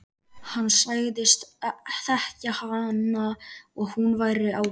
Hann sagðist þekkja hana og hún væri ágæt.